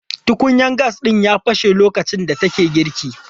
Tukunyan gas ɗin ya fashe lokacin da take girki.